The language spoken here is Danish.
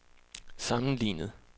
sammenlignet